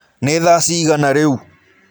Nĩ thaa cigana rĩũ?